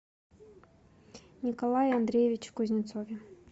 николае андреевиче кузнецове